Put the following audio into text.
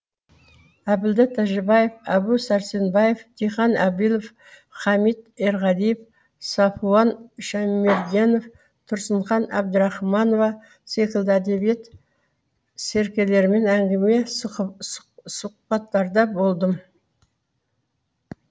әбділда тәжібаев әбу сәрсенбаев диқан әбілов хамит ерғалиев сафуан шәймерденов тұрсынхан әбдірахманова секілді әдебиет серкелерімен әңгіме сұхбаттарда болдым